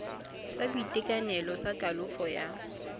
sa boitekanelo sa kalafo ya